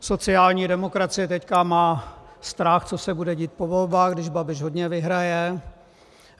Sociální demokracie teď má strach, co se bude dít po volbách, když Babiš hodně vyhraje.